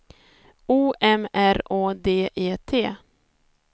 O M R Å D E T